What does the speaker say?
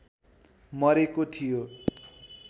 मरेको थियो